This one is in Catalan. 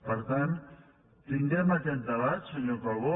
per tant tinguem aquest debat senyor calbó